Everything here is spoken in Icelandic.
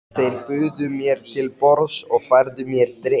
Þeir buðu mér til borðs og færðu mér drykk.